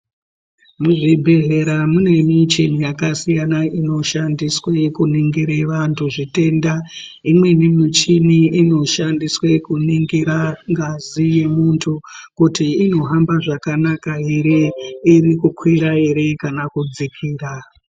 Muzvibhedhlera mune micheni yakasiyana inoshandiswe kuningire vantu zvitenda. Imweni michini inoshandiswe kunongira ngazi yemuntu kuti inohamba zvakanaka ere. iri kukwira ere kana kudzikira.